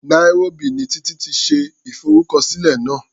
Nairobi ni Títí ti ṣe ìfọrúkọsílẹ̀ náà.